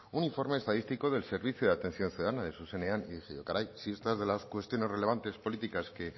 un informe estadístico del servicio de atención ciudadana de zuzenean y dije yo caray si estas es de las cuestiones relevantes políticas que